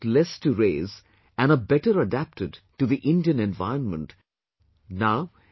They cost less to raise and are better adapted to the Indian environment and surroundings